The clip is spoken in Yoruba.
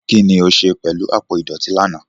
Kín ni o ṣe pẹ̀lú àpò ìdọ̀tí lánàá?